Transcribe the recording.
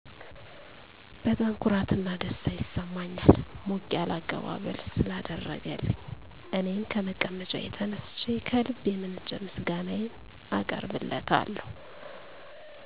በጣም ኩራት እና ደስታ ይሰማኛል ሞቅ ያለ አቀባበል ስላደረገልኝ እኔም ከመቀመጫዬ ተነስቸ ከልብ የመነጨ ምስጋናየን አቀርብለታለሁ።